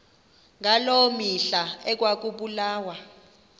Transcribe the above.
ngaloo mihla ekwakubulawa